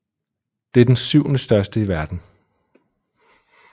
Det er den syvendestørste i verden